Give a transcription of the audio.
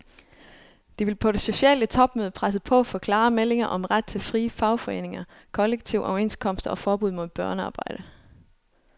De vil på det sociale topmøde presse på for klare meldinger om ret til frie fagforeninger, kollektive overenskomster og forbud mod børnearbejde.